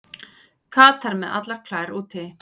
Katar með allar klær úti